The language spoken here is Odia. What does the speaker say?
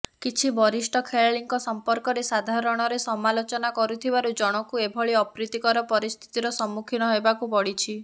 କିଛି ବରିଷ୍ଠ ଖେଳାଳିଙ୍କ ସମ୍ପର୍କରେ ସାଧାରଣରେ ସମାଲୋଚନା କରିଥିବାରୁ ଜନ୍ଙ୍କୁ ଏଭଳି ଅପ୍ରୀତିକର ପରିସ୍ଥିତିର ସମ୍ମୁଖୀନ ହେବାକୁ ପଡ଼ିଛି